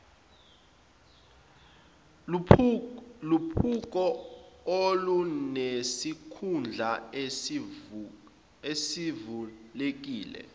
luphiko olunesikhundla esivulekile